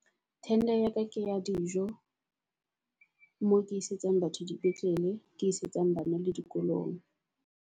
Tender ya ka ke ya dijo mo ke isetsang batho di petlele. Ke isetsang bana le dikolong.